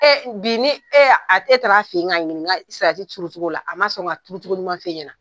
bi ni a y'a, e taara a fen ka ɲininka salati turutogo la, a ma sɔn ka turutogo ɲuman fen ɲɛna